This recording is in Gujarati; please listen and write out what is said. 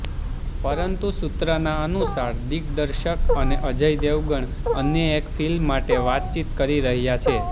પરંતુ સૂત્રના અનુસાર દિગ્દર્શક અને અજય દેવગણ અન્ય એક ફિલ્મ માટે વાતચીત કરી રહ્યા છે